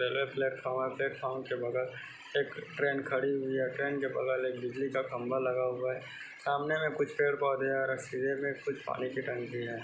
Railway platform है platform के बगल में एक ट्रेन खड़ी हुई है ट्रेन के बगल में बिजली का खंबा लगा हुआ है सामने में कुछ पेड़ पौधे है और कुछ पानी की टंकी है।